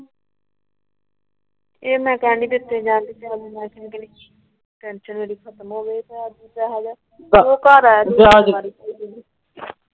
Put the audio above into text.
ਇਹਨਾਂ ਟੇਂਸ਼ਨ ਮੇਰੀ ਖਤਮ ਹੋਵੇ। ਦੂਜਾ ਹੇਗਾ ਉਹ ਘਰ ਆਵੇ